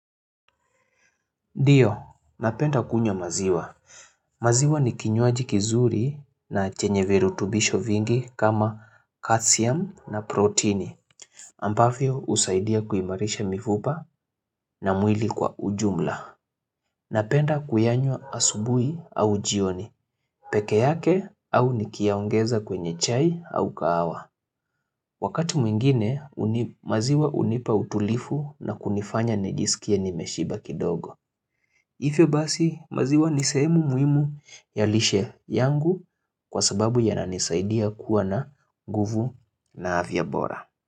Ndiyo, napenda kunywa maziwa. Maziwa ni kinywaji kizuri na chenye virutubisho vingi kama calcium na proteini. Ambavyo husaidia kuimarisha mifupa na mwili kwa ujumla. Napenda kuyanywa asubuhi au jioni, peke yake au nikiyaongeza kwenye chai au kahawa. Wakati mwingine, maziwa hunipa utulivu na kunifanya nijisikie nimeshiba kidogo. Hivyo basi maziwa nisehemu muhimu ya lishe yangu kwa sababu ya nanisaidia kuwa na nguvu na afya bora.